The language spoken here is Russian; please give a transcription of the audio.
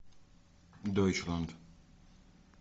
дойчланд